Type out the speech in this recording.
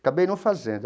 Acabei não fazendo.